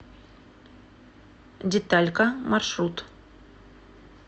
деталька маршрут